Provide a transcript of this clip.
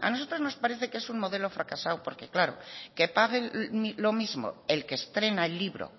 a nosotros nos parece que es un modelo fracasado porque claro que paguen lo mismo el que estrena el libro